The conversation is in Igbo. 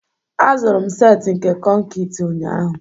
azụrụ m set nke konkịtị ụnyahụ